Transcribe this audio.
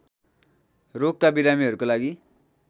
रोगका बिरामीहरूको लागि